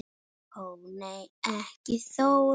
Ó nei ekki Þóra